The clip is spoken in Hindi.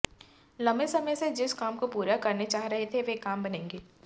लंबे समय से जिस काम को पूरा करना चाह रहे थे वो काम बनेंगे